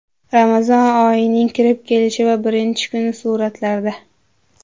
Ramazon oyining kirib kelishi va birinchi kuni suratlarda.